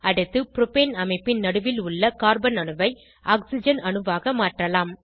அடுத்து புரோபேன் அமைப்பின் நடுவில் உள்ள கார்பன் அணுவை ஆக்ஸிஜன் அணுவாக மாற்றலாம்